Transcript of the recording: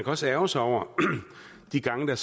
også ærgre sig over de gange der